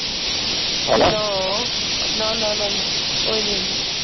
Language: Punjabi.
Hello. No no no no ਕੋਈ ਨੀ ਆਉਂਦਾ।